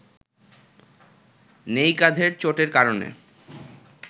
নেই কাঁধের চোটের কারণে